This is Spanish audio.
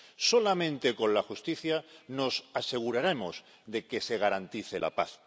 Solamente con la justicia nos aseguraremos de que se garantice la paz.